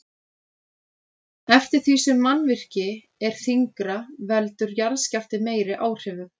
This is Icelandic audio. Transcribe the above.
Eftir því sem mannvirki er þyngra veldur jarðskjálfti meiri áhrifum.